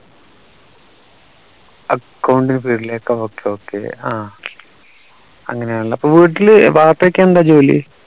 accounting field ലേക്കോ okay okay ആഹ് അങ്ങനെയാണല്ലേ അപ്പോ വീട്ടിലെ ബാപ്പാക്ക് എന്താ ജോലി